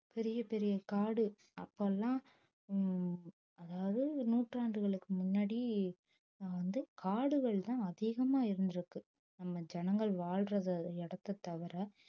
பெரிய பெரிய காடு அப்ப எல்லாம் உம் அதாவது நூற்றாண்டுகளுக்கு முன்னாடி ஆஹ் வந்து காடுகள்தான் அதிகமா இருந்திருக்கு நம்ம ஜனங்கள் வாழ்ற இடத்தை தவிர